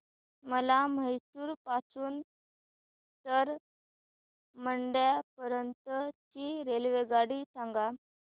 मला म्हैसूर पासून तर मंड्या पर्यंत ची रेल्वेगाडी सांगा